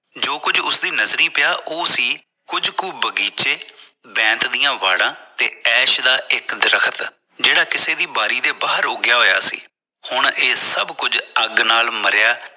ਜੋ ਕੁੱਜ ਉਸ ਦੀ ਨਜ਼ਰੀ ਪਿਆ ਉਹ ਸੀ ਕੁੱਜ ਕੁ ਬਗ਼ੀਚੇ ਬੈਂਤ ਦੀ ਵਾੜਾ ਤੇ ਐਸ਼ ਦਾ ਇਕ ਦਰੱਖਤ ਜਿਹੜਾ ਕਿਸੇ ਦੀ ਬਾਰੀ ਦੇ ਬਾਹਰ ਉਗਿਆ ਹੋਇਆ ਸੀ ਹੁਣ ਇਹ ਸਬ ਅੱਗ ਨਾਲ ਮਰਿਆ